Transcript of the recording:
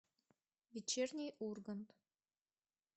вечерний ургант